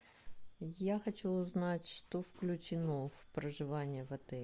я хочу знать что включено в проживание в отеле